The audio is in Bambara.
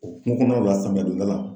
O kungo kɔnɔnawla samiya donda la